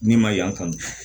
Ni ma yan kan